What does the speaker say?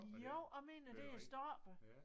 Jo jeg mener det er stoppet